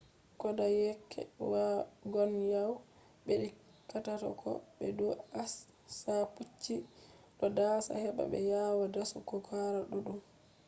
kodayeke wagonways bedi katako be dou acsha pupcshi do dasa heba be yawa dasu go kare duddum